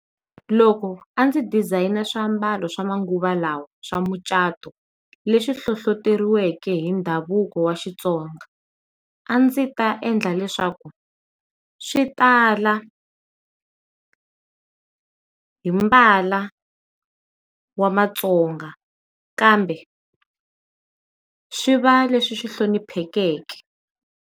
Loko a ndzi designer swiambalo swa manguva lawa swa mucato leswi hlohloteriweke hi ndhavuko wa xitsonga a ndzi ta endla leswaku swi tala, hi mbala wa matsonga kambe swi va leswi hloniphekeke.